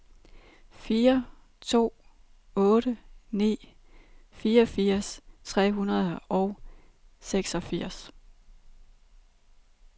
fire to otte ni fireogfirs tre hundrede og seksogfirs